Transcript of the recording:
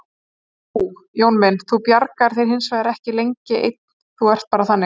En þú, Jón minn, þú bjargar þér hinsvegar ekki lengi einn, þú ert bara þannig.